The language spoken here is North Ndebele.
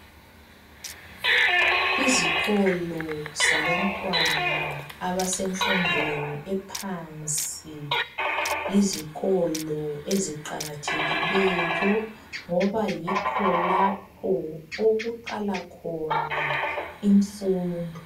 Izikolo zabantwana abasenfundweni ephansi yizikolo eziqakathekileyo ngoba yikho lapho okuqala khona imfundo.